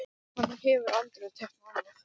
Hann hefur aldrei teiknað annað.